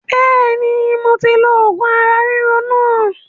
Bẹ́ẹ̀ni moti lo oògùn ara ríro náà